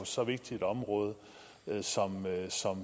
så vigtigt et område